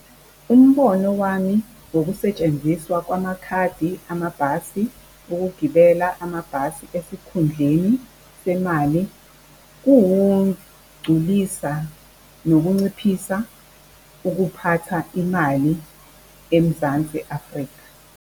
Umbono wami wokusetshenziswa kwamakhadi amabhasi ukugibela amabhasi esikhundleni semali kuwugculisa, nokunciphisa ukuphatha imali eMzansi Afrika.